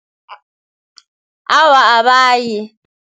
Awa, abayi.